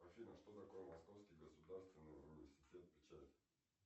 афина что такое московский государственный университет печати